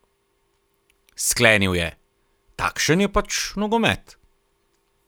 Sklenil je: "Takšen je pač nogomet.